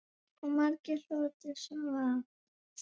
Og margur hlotið sóma af.